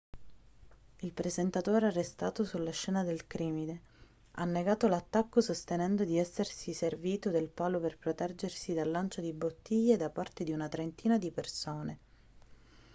il presentatore arrestato sulla scena del crimine ha negato l'attacco sostenendo di essersi servito del palo per proteggersi dal lancio di bottiglie da parte di una trentina di persone